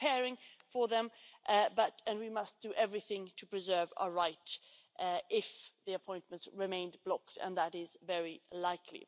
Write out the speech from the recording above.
We are preparing for them and we must do everything to preserve our right if the appointments remained blocked, and that is very likely.